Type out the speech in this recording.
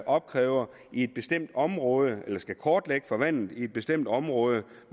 opkræver i et bestemt område eller skal kortlægge vandet i et bestemt område